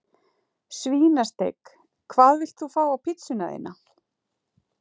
Svínasteik Hvað vilt þú fá á pizzuna þína?